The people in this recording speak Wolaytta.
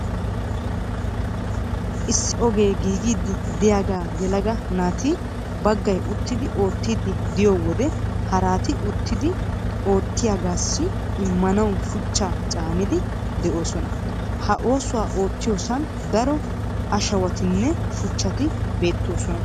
Issi ogee giigiiddi de'iyagaa yelaga naati baggay uttidi oottiiddi de'iyo wode haraati uttidi oottiyagaassi immanawu shuchchaa caaniiddi de'oosona. Ha oosuwa oottiyosan daro ashawatinne shuchchati beettoosona.